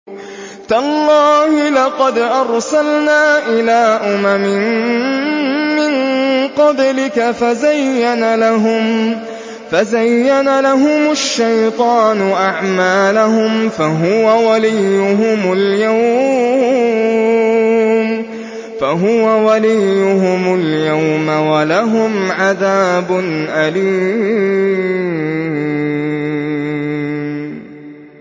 تَاللَّهِ لَقَدْ أَرْسَلْنَا إِلَىٰ أُمَمٍ مِّن قَبْلِكَ فَزَيَّنَ لَهُمُ الشَّيْطَانُ أَعْمَالَهُمْ فَهُوَ وَلِيُّهُمُ الْيَوْمَ وَلَهُمْ عَذَابٌ أَلِيمٌ